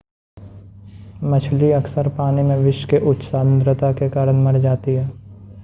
मछली अक्सर पानी में विष के उच्च सांद्रता के कारण मर जाती है